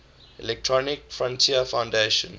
electronic frontier foundation